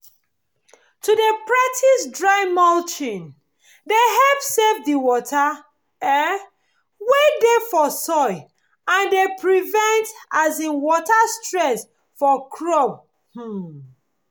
to dey practise dry mulching dey help save the water um wey dey for soil and dey prevent um water stress for crops um